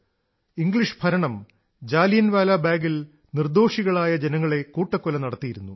English ഭരണം ജാലിയൻവാലാ ബാഗിൽ നിർദ്ദോഷികളായ ജനങ്ങളെ കൂട്ടക്കൊല നടത്തിയിരുന്നു